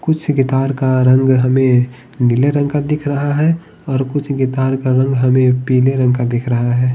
कुछ गिटार का रंग हमें नीले रंग का दिख रहा है और कुछ गिटार का रंग हमें पीले रंग का दिख रहा है।